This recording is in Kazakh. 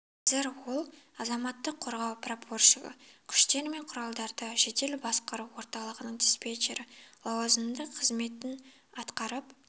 қазір ол азаматтық қорғау прапорщигі күштер мен құралдарды жедел басқару орталығының диспетчері лауазымында қызметін атқарып